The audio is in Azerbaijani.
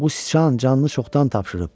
Bu sıçan canını çoxdan tapşırıb.